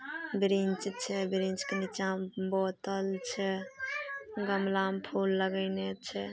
Bench छै bench के नीचा में बोतल छै गमला में फूल लगेने छै।